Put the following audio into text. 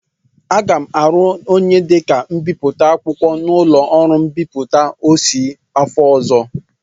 Aga m arụ onye dịka mbipụta akwụkwọ n'ụlọ ọrụ mbipụta Ossy afọ ọzọ.